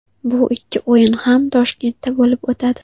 Bu ikki o‘yin ham Toshkentda bo‘lib o‘tadi.